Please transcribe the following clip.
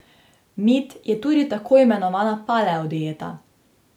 Mit je tudi tako imenovana paleo dieta.